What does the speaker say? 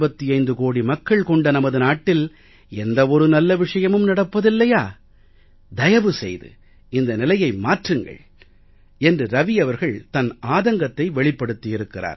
125 கோடி மக்கள் கொண்ட நமது நாட்டில் எந்த ஒரு நல்ல விஷயமும் நடப்பதில்லையா தயவு செய்து இந்த நிலையை மாற்றுங்கள் என்று ரவி அவர்கள் தன் ஆதங்கத்தை வெளிப்படுத்தி இருக்கிறார்